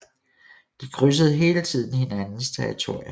De krydsede hele tiden hinandens territorier